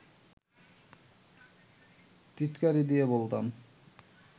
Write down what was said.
টিটকারি দিয়ে বলতাম